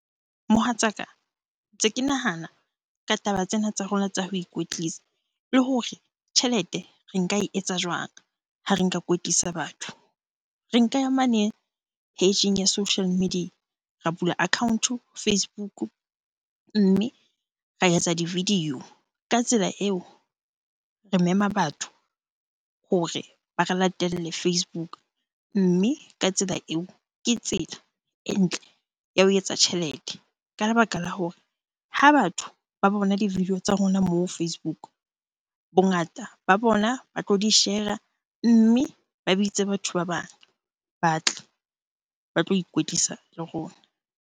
Mohatsaka, ntse ke nahana ka taba tsena tsa rona tsa ho ikwetlisa le hore tjhelete re nka e etsa jwang ha re nka kwetlisa batho? Re nka ya mane page-eng ya social media, ra bula account-o Facebook mme ra etsa di-video. Ka tsela eo re mema batho hore ba re latelle Facebook. Mme ka tsela eo, ke tsela e ntle ya ho etsa tjhelete. Ka lebaka la hore ha batho ba bona di-video tsa rona moo Facebook, bongata ba bona ba tlo di-share-a mme ba bitse batho ba bang ba tle ba tlo ikwetlisa le rona.